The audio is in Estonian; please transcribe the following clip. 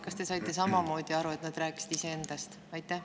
Kas te saite samamoodi aru, et nad rääkisid iseendast?